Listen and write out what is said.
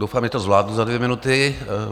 Doufám, že to zvládnu za dvě minuty.